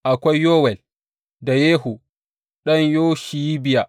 Akwai Yowel, da Yehu ɗan Yoshibiya.